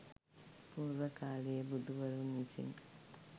පූර්ව කාලයේ බුදුවරුන් විසින්